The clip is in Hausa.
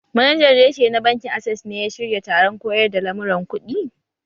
Manajan reshe na bankin access ne ya shirya taron koyar da lamuran kuɗi?